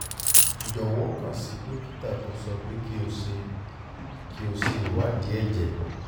jọwọ kàn sí dókítà tó sọ pé kí o ṣe kí o ṣe ìwádìí ẹ̀jẹ̀